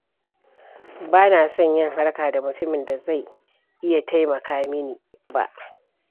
Ba na son yi harka da mutumin da zai iya taimaka mini ba.